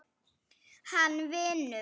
Hann vinur.